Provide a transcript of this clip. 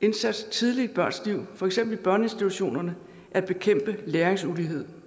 indsats tidligt i børns liv for eksempel i børneinstitutionerne at bekæmpe læringsulighed